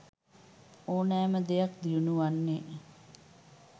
ඕනෑම දෙයක් දියුණු වන්නේ